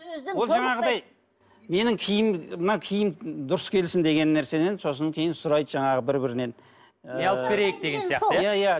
ол жаңағыдай ненің киім мына киім дұрыс келсін деген нәрседен сосын кейін сұрайды жаңағы бір бірінен ы не алып берейік деген сияқты иә иә